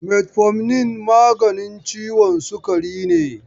Metfomin maganin ciwon sukari ne.